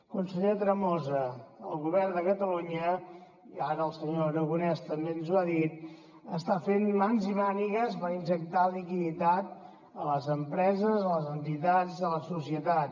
conseller tremosa el govern de catalunya i ara el senyor aragonès també ens ho ha dit està fent mans i mànigues per injectar liquiditat a les empreses a les entitats i a la societat